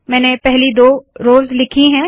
मैंने पहली दो रोव्स लिखी है